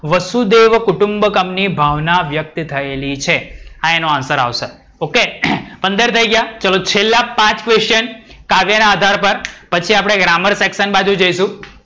વશુધેવ કુટુંબકમ ની ભાવના વ્યક્ત થયેલી છે. આ એનો answer આવશે. OK પંદર થઈ ગયા. ચલો, છેલ્લા પાંચ question. કાવ્ય ના આધાર પર પછી આપણે ગ્રામર સેક્શન બાજુ જઇસુ.